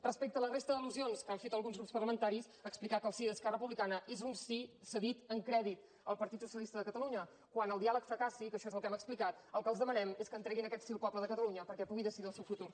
respecte a la resta d’al·lusions que han fet alguns grups parlamentaris explicar que el sí d’esquerra republicana és un sí cedit en crèdit al partit socialista de catalunya quan el diàleg fracassi que això és el que hem explicat el que els demanem és que entreguin aquest sí al poble de catalunya perquè pugui decidir el seu futur